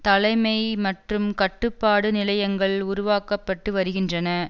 தலைமை மற்றும் கட்டுப்பாடு நிலையங்கள் உருவாக்க பட்டு வருகின்றன